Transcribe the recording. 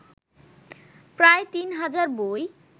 প্রায় তিন হাজার বই